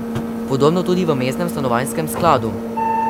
Podobno tudi v mestnem stanovanjskem skladu.